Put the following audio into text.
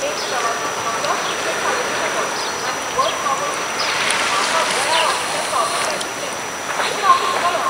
एक प्रवासी कसोच तिकेट काडीना जालो, आनी बस थांबयली. म्हाका वेळार ऑफिसांत पावपाचें आशिल्ले म्हूण हांव तिडकलो.